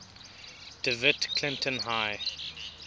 dewitt clinton high